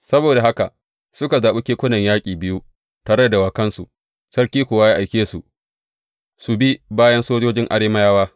Saboda haka suka zaɓi kekunan yaƙi biyu tare da dawakansu, sarki kuwa ya aike su su bi bayan sojojin Arameyawa.